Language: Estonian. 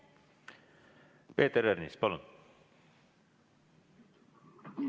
Peeter Ernits, palun!